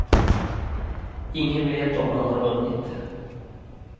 Ingen vet om han har vunnit.